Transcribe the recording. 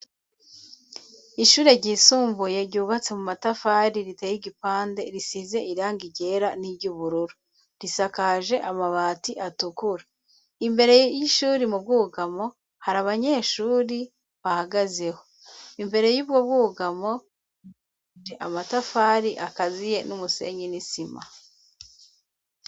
Ishure ryisumbuye ryubatse mu matafari .Riteye igipande risize iranga ryera n'iryubururu risakaje amabati atukura imbere y'ishuri mu bwugamo hari abanyeshuri bahagazeho. Imbere y'ubwo bwugamo je amatafari akaziye n'umusenyi nisima.